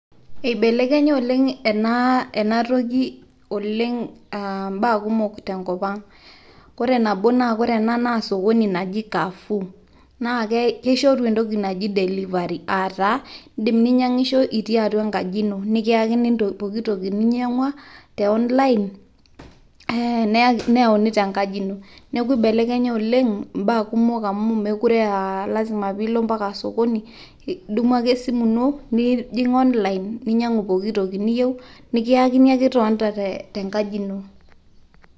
eibelekenya oleng ena toki, oleng ibaa kumok tenkopang, ore ena naa entoki naji Carrefour. naa kishoru entoki naji delivery aa taa idim ninyiang'isho itii atua enkaji ino, nikyakini pooki toki ninyiang'ua te online neyauni tenkaji ino. nneeku ibelekenya oleng ibaa kumok amu ime lasima pee e ilo sokoni, idumu ake esimu ino nilo online nikiyakini entoki niyieu itonita te nkaji ino.